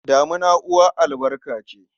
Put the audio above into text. Damina uwar albarka ce.